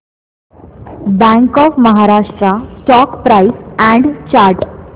bank of Maharashtra stock price and chart